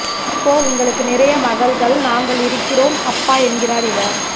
இப்போ உங்களுக்கு நிறைய மகள்கள் நாங்கள் இருக்கிறோம் அப்பா என்கிறார் இவர்